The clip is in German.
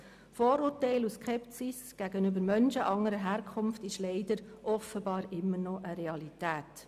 Vorurteile und Skepsis gegenüber Menschen anderer Herkunft sind leider offenbar immer noch eine Realität.